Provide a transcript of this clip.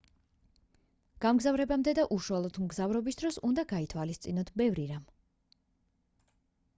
გამგზავრებამდე და უშუალოდ მგზავრობის დროს უნდა გაითვალისწინოთ ბევრი რამ